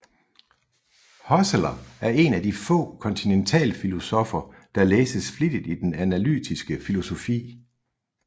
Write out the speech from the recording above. Husserl er en af de få kontinentalfilosoffer der læses flittigt i den analytiske filosofi